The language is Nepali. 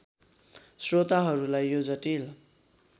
स्रोताहरूलाई यो जटिल